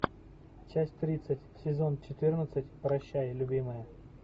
часть тридцать сезон четырнадцать прощай любимая